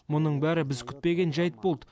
мұның бәрі біз күтпеген жайт болды